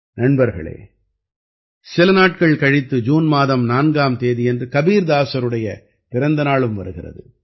நண்பர்களே சில நாட்கள் கழித்து ஜூன் மாதம் 4ஆம் தேதியன்று கபீர்தாசருடைய பிறந்த நாளும் வருகிறது